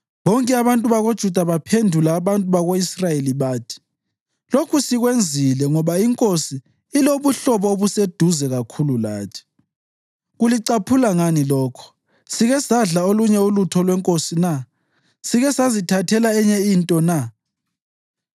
Bonke abantu bakoJuda baphendula abantu bako-Israyeli bathi, “Lokhu sikwenzile ngoba inkosi ilobuhlobo obuseduze kakhulu lathi. Kulicaphula ngani lokho? Sike sadla olunye ulutho lwenkosi na? Sike sazithathela enye into na?”